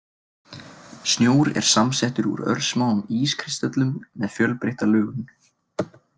Snjór er samsettur úr örsmáum ískristöllum með fjölbreytta lögun.